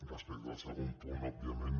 respecte al segon punt òbviament